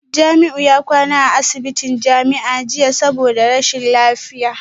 Jamiu ya kwana a asibitin jami'a jiya saboda rashin lafiya